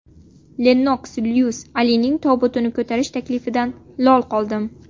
Lennoks Lyuis: Alining tobutini ko‘tarish taklifidan lol qoldim.